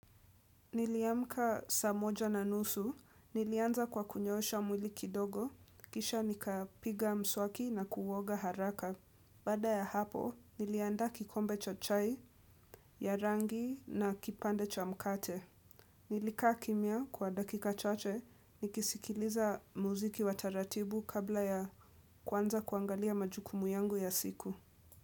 Niliamka saa moja na nusu, nilianza kwa kunyoosha mwili kidogo, kisha nikapiga mswaki na kuoga haraka. Baada ya hapo, nilianda kikombe cha chai, ya rangi na kipande cha mkate. Nilikaa kimya kwa dakika chache, nikisikiliza muziki wa taratibu kabla ya kuanza kuangalia majukumu yangu ya siku.